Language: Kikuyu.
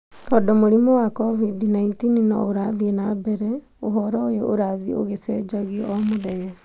Tondũ mũrimũ wa COVID-19 no ũrathiĩ na mbere, ũhoro ũyũ ũrathiĩ ũgĩcenjagio o mũthenya.